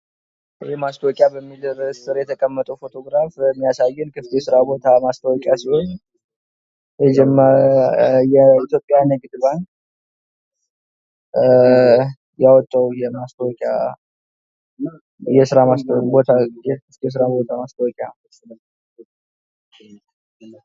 ማስታወቂያ ምርትን፣ አገልግሎትን ወይም ሐሳብን ለተወሰነ ታዳሚ ለማስተዋወቅ የሚደረግ የሚከፈልበት የግንኙነት ዘዴ ነው።